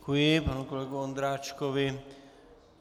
Děkuji, panu kolegovi Ondráčkovi.